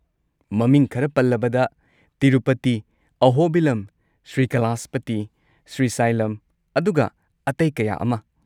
ꯃꯃꯤꯡ ꯈꯔ ꯄꯜꯂꯕꯗ: ꯇꯤꯔꯨꯄꯇꯤ, ꯑꯍꯣꯕꯤꯂꯝ, ꯁ꯭ꯔꯤꯀꯥꯂꯥꯍꯁꯄꯇꯤ, ꯁ꯭ꯔꯤꯁꯥꯏꯂꯝ, ꯑꯗꯨꯒ ꯑꯇꯩ ꯀꯌꯥ ꯑꯃ꯫